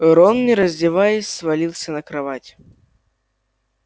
рон не раздеваясь свалился на кровать